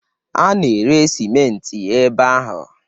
A na-ere simenti ebe ahụ.